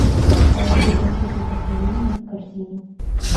положи конфеты вдохновение в корзину